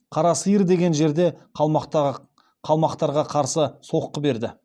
қара сиыр деген жерде қалмақтарға қарсы соққы берді